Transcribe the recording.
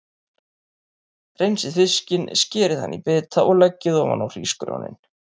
Hreinsið fiskinn, skerið hann í bita og leggið ofan á hrísgrjónin.